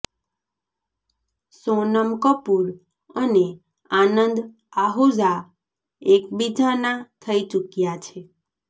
સોનમ કપૂર અને આનંદ આહૂજા એકબીજાના થઇ ચુક્યા છે